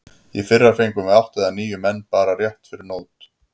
Í fyrra fengum við átta eða níu menn bara rétt fyrir mót.